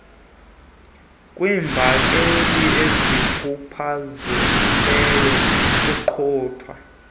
kwiimbaleki ezikhubazekileyo nokuqukwa